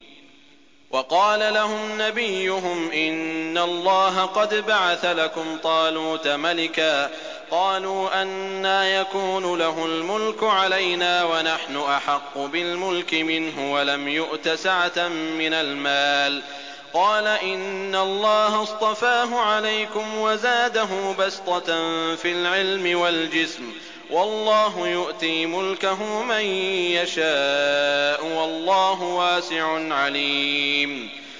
وَقَالَ لَهُمْ نَبِيُّهُمْ إِنَّ اللَّهَ قَدْ بَعَثَ لَكُمْ طَالُوتَ مَلِكًا ۚ قَالُوا أَنَّىٰ يَكُونُ لَهُ الْمُلْكُ عَلَيْنَا وَنَحْنُ أَحَقُّ بِالْمُلْكِ مِنْهُ وَلَمْ يُؤْتَ سَعَةً مِّنَ الْمَالِ ۚ قَالَ إِنَّ اللَّهَ اصْطَفَاهُ عَلَيْكُمْ وَزَادَهُ بَسْطَةً فِي الْعِلْمِ وَالْجِسْمِ ۖ وَاللَّهُ يُؤْتِي مُلْكَهُ مَن يَشَاءُ ۚ وَاللَّهُ وَاسِعٌ عَلِيمٌ